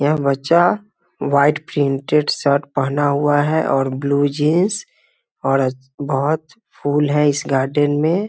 यह बच्चा white printed shirt पहना हुआ है और ब्लू जीन्स और बहुत फूल है इस गार्डेन में।